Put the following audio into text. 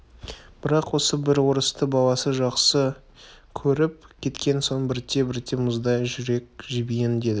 бірақ осы бір орысты баласы жақсы көріп кеткен соң бірте-бірте мұздай жүрек жібиін деді